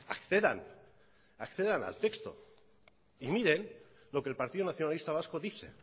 accedan accedan al texto y miren lo que el partido nacionalista vasco dice